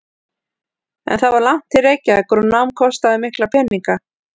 En það var langt til Reykjavíkur og nám kostaði mikla peninga.